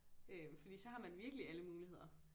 Øh fordi så har man virkelig alle muligheder